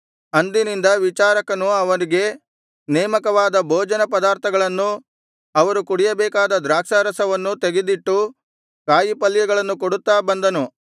ಅಂದಿನಿಂದ ವಿಚಾರಕನು ಅವರಿಗೆ ನೇಮಕವಾದ ಭೋಜನ ಪದಾರ್ಥಗಳನ್ನೂ ಅವರು ಕುಡಿಯಬೇಕಾದ ದ್ರಾಕ್ಷಾರಸವನ್ನೂ ತೆಗೆದಿಟ್ಟು ಕಾಯಿಪಲ್ಯಗಳನ್ನು ಕೊಡುತ್ತಾ ಬಂದನು